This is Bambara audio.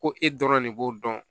Ko e dɔrɔn de b'o dɔn